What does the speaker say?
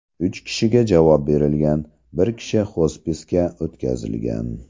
Uch kishiga javob berilgan, bir kishi xospisga o‘tkazilgan.